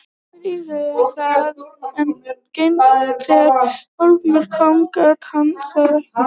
Hilmar íhugaði það en þegar á hólminn kom gat hann það ekki.